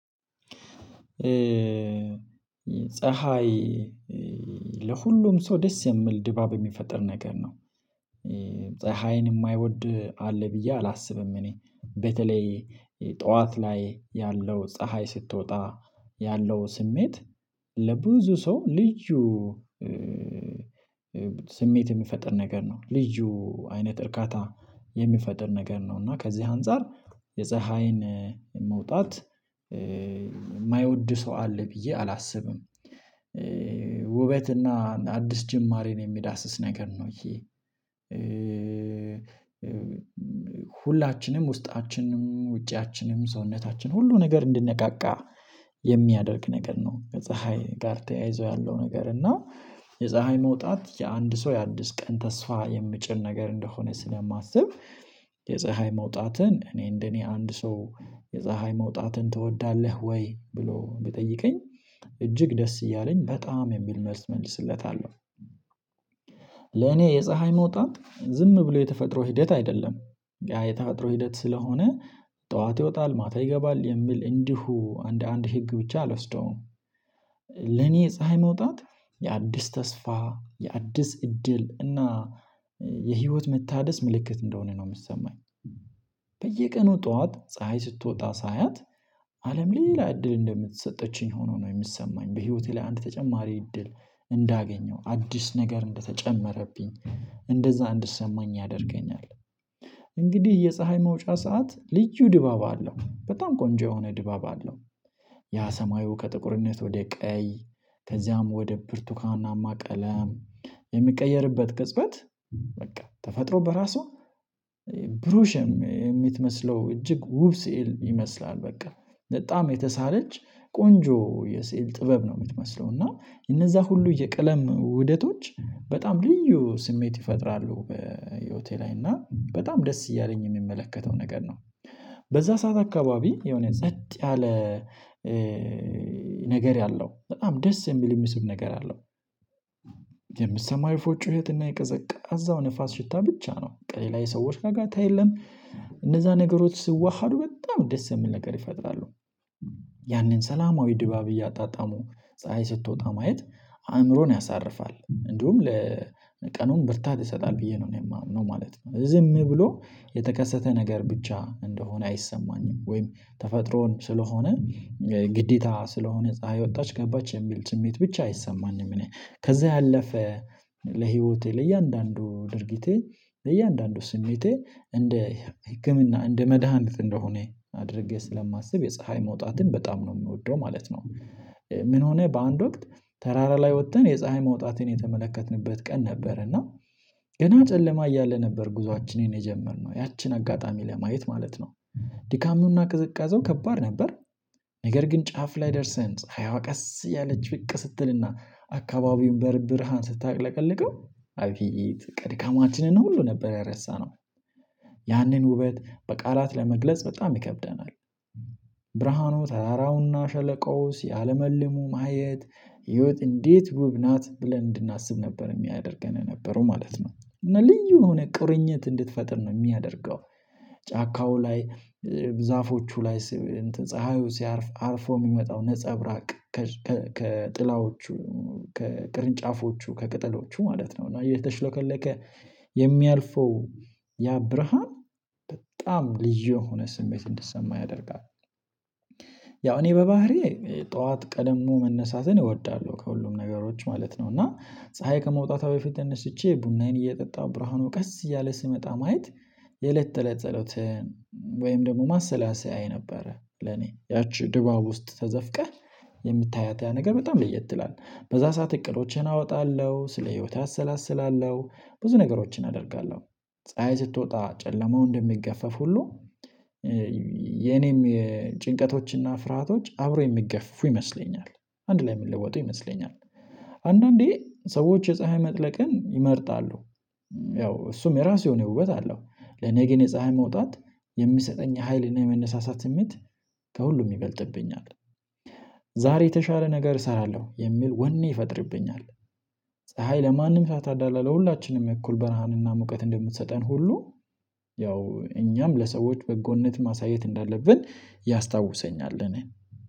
ፀሀይ ለሁሉም ሰው ደስ የሚል ድባብ የሚፈጥር ነገር ነው። ፀሀይን የማይወድ አለ ብዬ አላስብም እኔ። በተለይ ጠዋት ላይ ያለው ፀሀይ ስትወጣ ያለው ስሜት ለብዙ ሰው ልዩ። ስሜት የሚፈጥር ነገር ነው ልዩ አይነት እርካታ የሚፈጠር ነገር ነው። እና ከዚህ አንፃር የፀሀይን መውጣት የማይወድ ሰው አለ ብዬ አላስብም። ውበትና አዲስ ጅማሬን የሚዳስስ ነገር ነው። ይሄ ሁላችንም ውስጣችንም ውጫችንም ሰውነታችን ሁሉ ነገር እንድንነቃቃ የሚያደርግ ነገር ነው። ከፀሀይ ጋር ተያይዞ ያለው ነገር እና የፀሀይ መውጣት የአንድ ሰው የአድስ ቀን ተስፋ የምጭር ነገር እንደሆነ ስለማስብ። የፀሀይ መውጣትን እኔ እንደኔ አንድ ሰው የፀሀይ መውጣትን ትወዳለህ ወይ ብሎ ብጠይቀኝ እጅግ ደስ እያለኝ በጣም የሚል መልስ መልስለታለሁ። ለኔ የፀሀይ መውጣት ዝም ብሎ የተፈጥሮ ሂደት አይደለም ያ የተፈጥሮ ሂደት ስለሆነ ጠዋት ይወጣል ማታ ይገባል የሚል እንዲሁ አንድ አንድ ህግ ብቻ አልወስደውም። ለኔ ፀሀይ መውጣት የአዲስ ተስፋ የአዲስ እድል እና የህይወት መታደስ ምልክት እንደሆነ ነው የምሰማኝ። በየቀኑ ጠዋት ፀሀይ ስትወጣ ሳያት አለም ሌላ እድል እንደምትሰጠችኝ ሆኖ ነው የሚሰማኝ በህይወቴ ላይ አንድ ተጨማሪ እድል እንዳገኘው አዲስ ነገር እንደተጨመረብኝ እንደዛ እንድሰማኝ ያደርገኛል። እንግዲህ የፀሀይ መውጫ ሰዓት ልዩ ድባብ አለው በጣም ቆንጆ የሆነ ድባብ አለው። ያ ሰማዩ ከጥቁርነት ወደ ቀይ ከዚያም ወደ ብርቱካናማ ቀለም የሚቀየርበት ቅጽበት በቃ ተፈጥሮ በራሷ ብሩሽም የምትመስለው እጅግ ውብ ስዕል ይመስላል። በቃ በጣም የተሳለች ቆንጆ የስዕል ጥበብ ነው የምትመስለው እና እነዛ ሁሉ የቅለም ውደቶች በጣም ልዩ ስሜት ይፈጥራሉ በህይወቴ ላይ እና በጣም ደስ እያለኝ የሚመለከተው ነገር ነው። በዛ ሰዓት አካባቢ የሆነ ጸጥ ያለ ነገር ያለው በጣም ደስ የሚል የሚስብ ነገር አለው። የምትሰማው የፎ ጩህትና የቀዘቃዛው ንፋስ ሽታ ብቻ ነው ቀሌ ላይ ሰዎች ጋር ጋር ታየዋለህ። እነዛ ነገሮች ስዋሃዱ በጣም ደስ የሚል ነገር ይፈጥራሉ። ያንን ሰላማዊ ድባብ እያጣጣሙ ፀሀይ ስትወጣ ማየት አእምሮን ያሳርፋል እንዲሁም ለቀኑም ብርታት ይሰጣል ብዬ ነው እኔ የማምነው ማለት ነው። ዝም ብሎ የተከሰተ ነገር ብቻ እንደሆነ አይሰማኝም ወይም ተፈጥሮን ስለሆነ ግዴታ ስለሆነ ፀሀይ ወጣች ገባች የሚል ስሜት ብቻ አይሰማኝም። እኔ ከዛ ያለፈ ለህይወቴ ለእያንዳንዱ ድርጊቴ ለእያንዳንዱ ስሜቴ እንደ ህክምና እንደ መድሃኒት እንደሆነ አድርጌ ስለማስብ የፀሀይ መውጣትን በጣም ነው የሚወደው ማለት ነው። ምን ሆነ በአንድ ወቅት ተራራ ላይ ወጥተን የፀሀይ መውጣቴን የተመለከትንበት ቀን ነበር እና ገና ጨለማ እያለ ነበር ጉዞአችንን የጀመርነው ያቺን አጋጣሚ ለማየት ማለት ነው። ድካሙና ቅዝቃዜው ከባድ ነበር። ነገር ግን ጫፍ ላይ ደርሰን ፀሀይዋ ቀስ ያለች ብቅ ስትልና አካባቢውን በርብርሃን ስታቅለቀልቀው አብይ ቅድካማችንን ነው ሁሉ ነበር ያረሳነው። ያንን ውበት በቃላት ለመግለጽ በጣም ይከብደናል። ብርሃኑ ተራራውና ሸለቆው ሲያለመልሙ ማየት ህይወት እንዴት ውብ ናት ብለን እንድናስብ ነበር የሚያደርገን ነበረው ማለት ነው። እና ልዩ እንደሆነ ቁርኝት እንድትፈጥር ነው የሚያደርገው። ጫካው ላይ ዛፎቹ ላይ ፀሀዩ ሲያርፍ አርፎ የሚመጣው ነፀብራቅ ከጥላዎቹ ከቅርንጫፎቹ ከቅጠሎቹ ማለት ነው እና የተሽሎከለከ የሚያልፈው ያ ብርሃን በጣም ልጅ የሆነ ስሜት እንድሰማ ያደርጋል። ያው እኔ በባህሪዬ ጠዋት ቀደም መነሳትን እወዳለሁ ከሁሉም ነገሮች ማለት ነው። እና ፀሀይ ከመውጣቷ በፊት ተነስቼ ቡናዬን እየጠጣሁ ብርሃኑ ቀስ እያለ ስመጣ ማየት የለት ተለጸሎት። ወይም ደግሞ ማሰላሰያ የነበረ ለኔ ያቺ ድባብ ውስጥ ተዘፍቀህ የምታያት ያ ነገር በጣም ልየት ትላለህ በዛ ሰዓት እቅዶችን አወጣለሁ ስለ ህይወት አሰላስላለሁ። ብዙ ነገሮችን አደርጋለሁ። ፀሀይ ስትወጣ ጨለማው እንደሚገፈፍ ሁሉ የኔም ጭንቀቶችና ፍርሃቶች አብሮ የሚገፉ ይመስለኛል። አንድ ላይ የምንለውጠው ይመስለኛል። አንዳንዴ ሰዎች የፀሀይ መጥለቅን ይመርጣሉ። ያው እሱም የራሱ የሆነ ውበት አለው። ለኔ ግን የፀሀይ መውጣት የሚሰጠኝ ሀይልና የመነሳሳት ስሜት ከሁሉም ይበልጥብኛል። ዛሬ የተሻለ ነገር እሰራለሁ የሚል ወኔ ይፈጥርብኛል። ፀሀይ ለማንም ሳታዳላ ለሁላችንም እኩል በረሃንና ሙቀት እንደምትሰጠን ሁሉ ያው እኛም ለሰዎች በጎነት ማሳየት እንዳለብን ያስታውሰኛል እኔን።